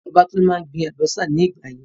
Bàbá Tolú máa ń gbin àlùbọ́sà ní ìgbà yìí.